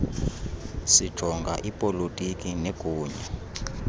sijonga ipolotiki negunya